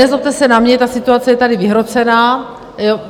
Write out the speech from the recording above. Nezlobte se na mě, ta situace je tady vyhrocená.